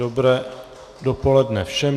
Dobré dopoledne všem.